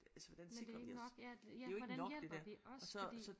Men det er ikke nok ja ja hvordan hjælper det os fordi